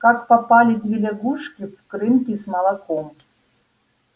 как попали две лягушки в крынки с молоком